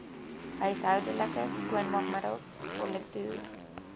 huishoudelike skoonmaakmiddels politoer